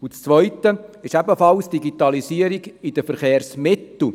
Die zweite ist die Digitalisierung bei den Verkehrsmitteln.